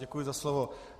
Děkuji za slovo.